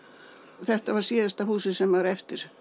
þetta er síðasta húsið sem er eftir